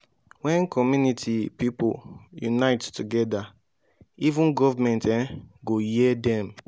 when community pipo unite together even government um go hear dem